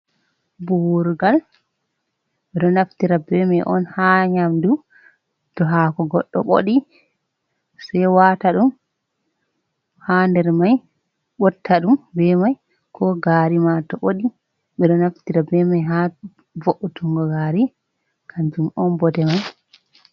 Buwurgal, ɓe ɗo naftira be mai on ha nyamdu to hako goɗɗo ɓoɗi sei wata ɗum ha der mai botta ɗum be mai, ko gari ma to ɓoɗi ɓe ɗo naftira be mai ha vo’utungo gari, kanjum on bote mai.